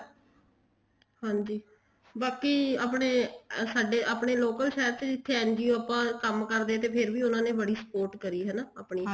ਹਾਂਜੀ ਬਾਕੀ ਆਪਣੇ ਸਾਡੇ ਆਪਣੇ local ਸ਼ਹਿਰ ਚ ਜਿੱਥੇ NGO ਜਿੱਥੇ ਕੰਮ ਕਰਦੇ ਤਾਂ ਫ਼ੇਰ ਵੀ ਉਹਨਾ ਨੇ ਬੜੀ spot ਕਰੀ ਹਨਾ